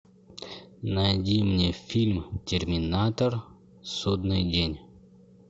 найди мне фильм терминатор судный день